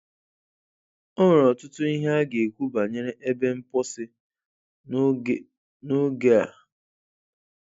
E nwere ọtụtụ ihe a ga-ekwu banyere ebe mposi n'oge n'oge a.